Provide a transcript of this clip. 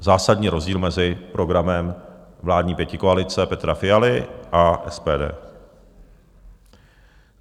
Zásadní rozdíl mezi programem vládní pětikoalice Petra Fialy a SPD.